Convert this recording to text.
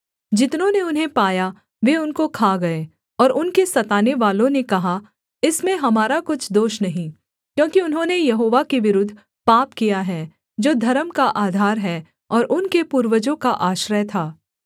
जितनों ने उन्हें पाया वे उनको खा गए और उनके सतानेवालों ने कहा इसमें हमारा कुछ दोष नहीं क्योंकि उन्होंने यहोवा के विरुद्ध पाप किया है जो धर्म का आधार है और उनके पूर्वजों का आश्रय था